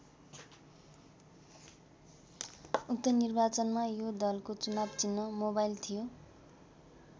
उक्त निर्वाचनमा यो दलको चुनाव चिह्न मोबाइल थियो।